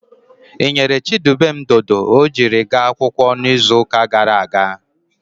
Ị ghere Chidubem dodo ọ jiri gaa akwụkwọ n'izuụka gara aga?